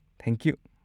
Thank you!